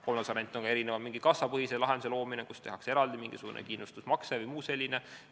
Kolmas variant on mingi kassapõhise lahenduse loomine, kus tehakse eraldi mingisugune kindlustusmakse vms.